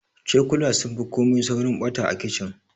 Cokula sun fi komai saurin ɓata a kicin.